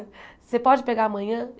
Você pode pegar amanhã?